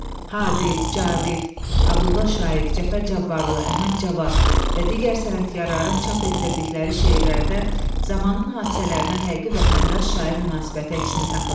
Hadi, Cavid, Abdulla Şaiq, Cəfər Cabbarlı, Əhməd Cavad və digər sənətkarların çap etdirdikləri şeirlərdə zamanın hadisələrinə həqiqi vətəndaş şair münasibəti əksini tapırdı.